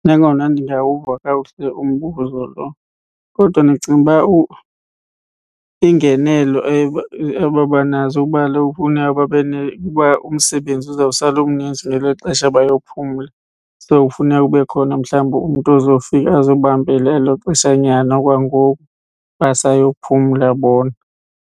Nangona ndingawuva kakuhle umbuzo lo kodwa ndicinga uba ingenelo ebabanazo kuba kaloku funa babe umsebenzi uzawusala umninzi ngelixesha bayophumla. So, kufuneka kube khona mhlawumbi umntu ozofika azobambela elo xesha nyana okwangoku basayophumla bona.